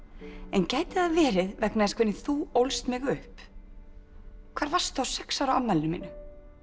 en gæti það verið vegna þess hvernig þú ólst mig upp hvar varstu á sex ára afmælinu mínu